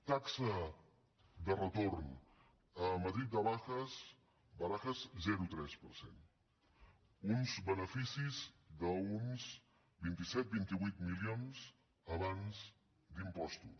taxa de retorn a madrid barajas zero coma tres per cent uns beneficis d’uns vint set vint vuit milions abans d’impostos